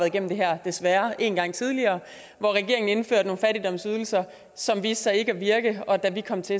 igennem det her desværre en gang tidligere hvor regeringen indførte nogle fattigdomsydelser som viste sig ikke at virke og da vi kom til